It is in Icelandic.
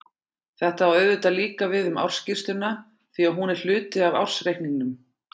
Þetta á auðvitað líka við um ársskýrsluna því að hún er hluti af ársreikningnum.